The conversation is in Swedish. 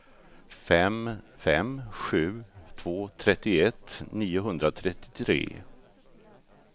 fem fem sju två trettioett niohundratrettiotre